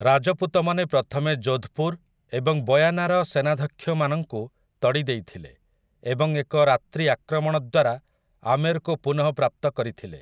ରାଜପୁତମାନେ ପ୍ରଥମେ ଯୋଧ୍‌ପୁର୍ ଏବଂ ବୟାନାର ସେନାଧ୍ୟକ୍ଷମାନଙ୍କୁ ତଡ଼ି ଦେଇଥିଲେ ଏବଂ ଏକ ରାତ୍ରିଆକ୍ରମଣ ଦ୍ୱାରା ଆମେର୍‌କୁ ପୁନଃପ୍ରାପ୍ତ କରିଥିଲେ ।